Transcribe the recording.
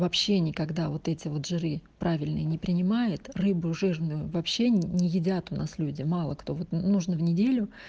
вообще никогда вот эти вот жиры правильные не принимает рыбу жирную вообще не едят у нас люди мало кто вот нужно в неделю